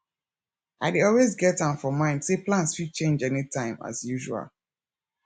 i dey always get am for mind say plans fit change anytime as usual